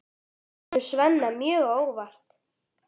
Það kemur Svenna mjög á óvart.